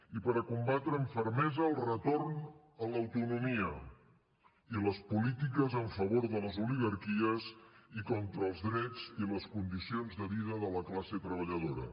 i per combatre amb fermesa el retorn a l’autonomia i les polítiques en favor de les oligarquies i contra els drets i les condicions de vida de la classe treballadora